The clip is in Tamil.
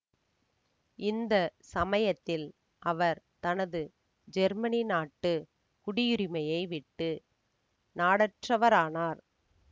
இந்த சமயத்தில் அவர் தனது ஜெர்மனி நாட்டு குடியுரிமையை விட்டு நாடற்றவரானார்